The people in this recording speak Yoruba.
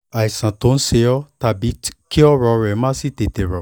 àìsàn tó ń ṣe ọ́ tàbí kí ọ̀rọ̀ rẹ má sì tètè rọ́